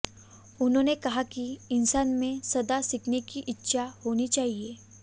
उन्होंने कहा कि इंसान में सदा सीखने की इच्छा होनी चाहिए